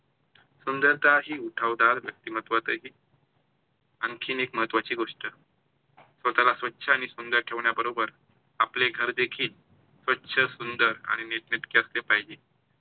सुंदरता ही उठावदार व्यक्तिमत्वात येते. आणखी एक महत्त्वाची गोष्ट स्वतःला स्वच्छ आणि सुंदर ठेवण्याबरोबर आपले घर देखिल स्वच्छ, सुंदर आणि निटनिटक असले पाहिजे.